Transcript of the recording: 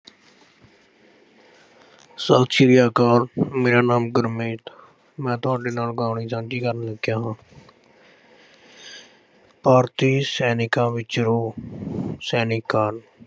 ਸਤਿ ਸ੍ਰੀ ਅਕਾਲ। ਮੇਰਾ ਨਾਮ ਗੁਰਮੀਤ। ਮੈਂ ਤੁਹਾਡੇ ਨਾਲ ਸਾਂਝੀ ਕਰਨ ਲੱਗਿਆ ਹਾਂ। ਭਾਰਤੀ ਸੈਨਿਕਾਂ ਵਿੱਚ ਰੋਹ, ਸੈਨਿਕ-ਕਾਲ